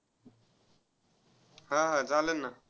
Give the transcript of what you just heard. हा हा चालेल ना.